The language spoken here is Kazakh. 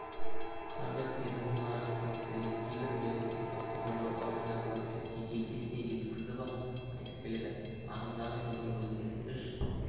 қаржы пирамидаларының қауіптілігін кейбір мемлекеттік құзырлы органдар көпшіліктің жетесіне жеткізіп-ақ айтып келеді ағымдағы жылдың өзінде үш